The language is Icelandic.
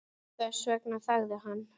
Þess vegna þagði hann.